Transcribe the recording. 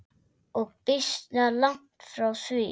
Og býsna langt frá því.